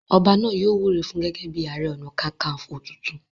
Ọba náà yóò wúre fún un gẹ́gẹ́ bíi ààrẹ ọ̀nà kakaǹfò tuntun.